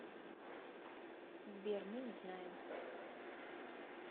сбер мы не знаем